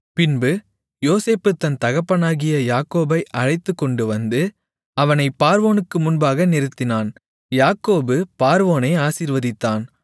பின்பு யோசேப்பு தன் தகப்பனாகிய யாக்கோபை அழைத்துக்கொண்டுவந்து அவனைப் பார்வோனுக்கு முன்பாக நிறுத்தினான் யாக்கோபு பார்வோனை ஆசீர்வதித்தான்